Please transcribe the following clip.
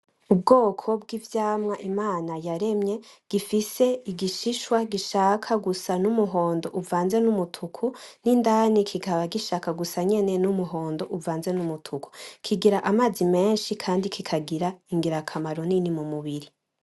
Ubwoko bw'ivyamwa Imana yaremye gifise igishishwa gishaka gusa n'umuhondo uvanze n'umutuku, n'indani kikaba gishaka gusa nyene n'umuhondo uvanze n'umutuku. Kigira amazi menshi kandi kikagira ingirakamaro nini mu mubiri.